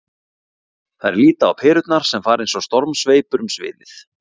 Þær líta á perurnar sem fara eins og stormsveipur um sviðið.